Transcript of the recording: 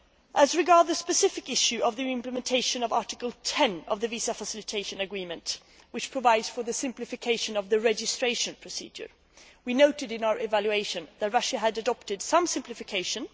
As regards the specific issue of the implementation of Article 10 of the visa facilitation agreement, which provides for the simplification of the registration procedure, we noted in our evaluation that Russia had adopted some simplification